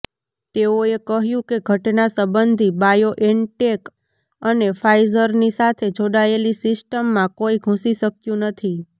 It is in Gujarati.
તેઓએ કહ્યું કે ઘટના સંબંધી બાયોએનટેક અને ફાઈઝરની સાથે જોડાયેલી સિસ્ટમમાં કોઈ ઘૂસી શક્યું નથી